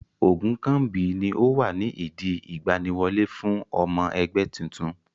Ogunkanmbi ni ó wà ní ìdí ìgbaniwọlé fún ọmọ ẹgbẹ́ titun.